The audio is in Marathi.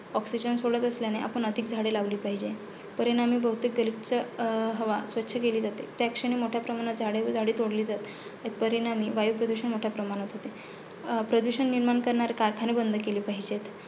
Oxigen सोडत असल्याने आपण अधिक झाडे लावली पाहिजे. परिणामी बहुतेक गलिच् अं हवा स्वच्छ केली जाते. त्याक्षणी मोठ्या प्रमाणात झाडे तोडली जाते. परिणामी वायुप्रदूषण मोठ्या प्रमाणात होते, प्रदूषण निर्माण करणारे कारखाने बंद केले पाहिजे.